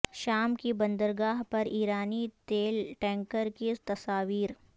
شام کی بندرگاہ پر ایرانی تیل ٹینکر کی تصاویر